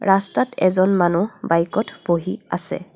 ৰাস্তাত এজন মানু্হ বাইকত বহি আছে।